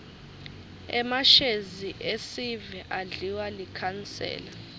emashezi esive adliwa likhansela